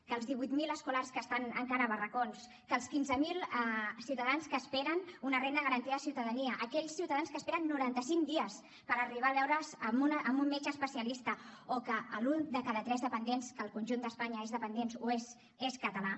que els divuit mil escolars que estan encara a barracons que els quinze mil ciutadans que esperen una renda garantida de ciutadania aquells ciutadans que esperen noranta cinc dies per arribar a veure’s amb un metge especialista o que l’un de cada tres dependents que al conjunt d’espanya és dependent ho és és català